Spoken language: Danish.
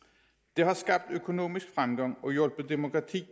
det har skabt økonomisk fremgang og hjulpet demokratiet